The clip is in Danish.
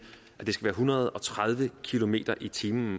en hundrede og tredive kilometer per time